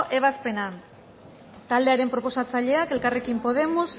ebazpena taldearen proposatzaileak elkarrekin podemos